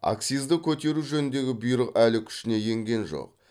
акцизді көтеру жөніндегі бұйрық әлі күшіне енген жоқ